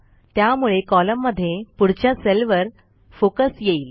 त्यामुळे कॉलममध्ये पुढच्या सेलवर फोकस येईल